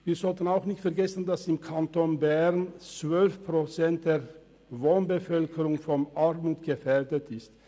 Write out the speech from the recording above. Wir sollten auch nicht vergessen, dass im Kanton Bern 12 Prozent der Wohnbevölkerung von Armut gefährdet sind.